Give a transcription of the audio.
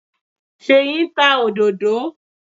Ṣèyí ń ta òdòdó.